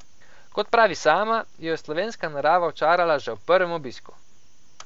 Kot pravi sama, jo je slovenska narava očarala že ob prvem obisku.